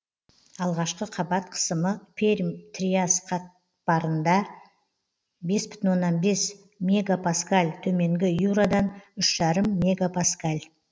алғашқы қабат қысымы пермь триас қатпарында бес бүтін оннан бес мегапаскаль төменгі юрадан үш жарым мегапаскаль